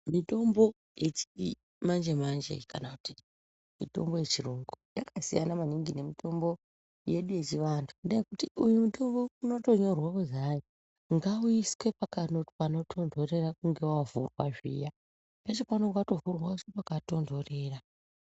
Mitombo yechimanje manje kana kuti mutombo yechiyungu yakasiyana maningi nemitombo yechiantu ngendaa yekuti unotoo unotonyorwa kuzi hai ngauiswe pano panotontorera ukunge wavhurwa zviya peshe paunenge watovhurwa woiswe pakatontorera.